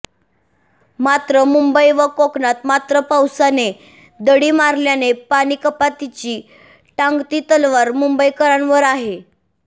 मात्र मुंबई व कोकणात मात्र पावसाने दडी मारल्याने पाणीकपातीची टांगती तलवार मुंबईकरांवर आहे